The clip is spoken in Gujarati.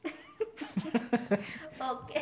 ઓકે